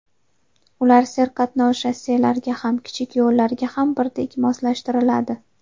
Ular serqatnov shosselarga ham, kichik yo‘llarga ham birdek moslashtiriladi.